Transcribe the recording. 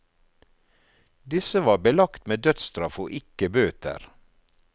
Disse var belagt med dødsstraff og ikke bøter.